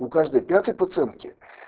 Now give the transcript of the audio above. у каждой пятой пациентки